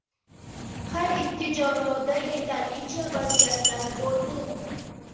Har ikki jamoada yetarlicha vaziyatlar bo‘ldi.